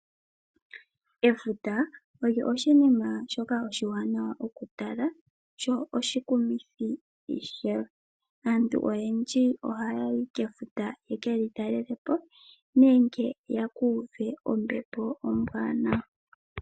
Efuta olyo oshinima ishoka oshiwanawa okutala, sho oshikumithi ishewe. Aantu oyendji ohaa yi kefuta yeke li talele po, nenge yeku uve ombepo ombwaanawa.